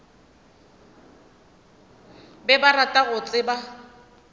be ba rata go tseba